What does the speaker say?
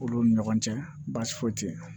Olu ni ɲɔgɔn cɛ baasi foyi te ye